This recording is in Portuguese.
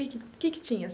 Que que que que tinha?